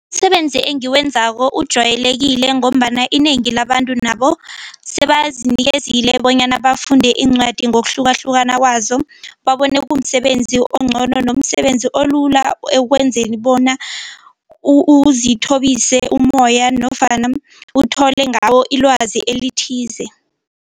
Umsebenzi engiwenzako ujwayelekile ngombana inengi labantu nabo sebazinikezile bonyana bafunde iincwadi ngokuhlukahlukana kwazo babone kumsebenzi ongcono nomsebenzi olula ekwenzeni bona uzithobise umoya nofana uthole ngawo ilwazi elithize.